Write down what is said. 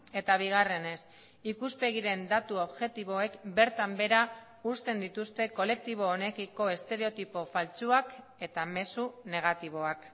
eta bigarrenez ikuspegiren datu objektiboek bertan behera uzten dituzte kolektibo honekiko estereotipo faltsuak eta mezu negatiboak